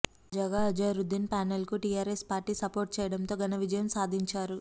తాజాగా అజారుద్దీన్ ప్యానెల్కు TRS party support చేయడంతో ఘన విజయం సాధించారు